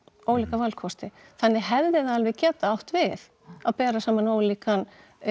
ólíka valkosti þannig hefði það alveg getað átt við að bera saman ólíkan